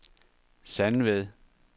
Sandved